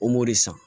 O m'o de san